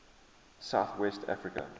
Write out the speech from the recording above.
south west africa